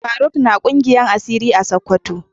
Faruq na kungiyar asiri a sokoto